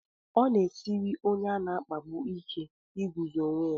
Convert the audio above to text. Ọ na-esiri onye a na-akpagbu ike iguzo onwe ya.